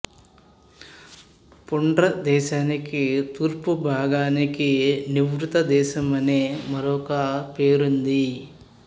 పుండ్ర దేశానికి తూర్పు భాగానికి నివృత్త దేశమనే మరొక పేరుంది